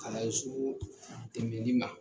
Kalanden sugu tɛmɛnli ma.